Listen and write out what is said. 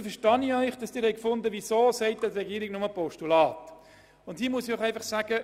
Nun verstehe ich, dass Sie sich fragen, warum der Regierungsrat die Motion nur als Postulat entgegennehmen will.